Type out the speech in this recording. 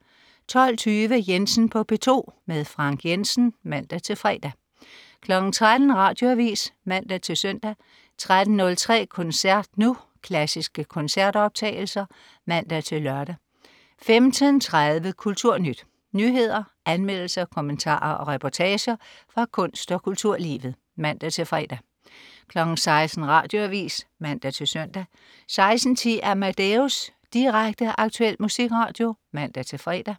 12.20 Jensen på P2. Frank Jensen (man-fre) 13.00 Radioavis (man-søn) 13.03 Koncert Nu. Klassiske koncertoptagelser (man-lør) 15.30 Kulturnyt. Nyheder, anmeldelser, kommentarer og reportager fra kunst- og kulturlivet (man-fre) 16.00 Radioavis (man-søn) 16.10 Amadeus. Direkte, aktuel musikradio (man-fre)